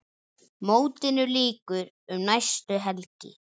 Mótinu lýkur um næstu helgi.